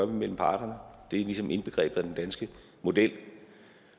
mellem parterne det er ligesom indbegrebet af den danske model